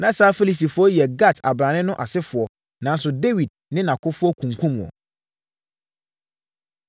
Na saa Filistifoɔ yi yɛ Gat abrane no asefoɔ nanso Dawid ne nʼakofoɔ kunkumm wɔn.